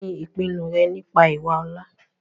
kíni ìpinu rẹ nípa ìwà ọ̀la?